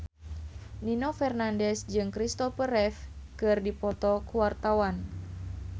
Nino Fernandez jeung Christopher Reeve keur dipoto ku wartawan